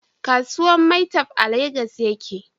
Kasuwan maitwef a Legas ya ke